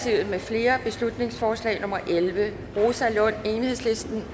mfl beslutningsforslag nummer b elleve rosa lund